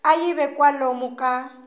a yi ve kwalomu ka